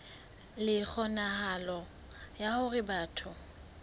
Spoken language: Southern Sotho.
le kgonahalo ya hore batho